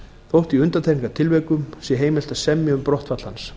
þótt í undantekningartilvikum sé heimilt að semja um brottfall hans